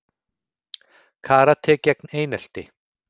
Karate gegn einelti